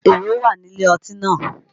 Èrò wà ní ilé ọtí náà